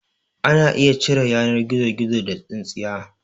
Ana iya cire yanar gizogizo da tsintsiya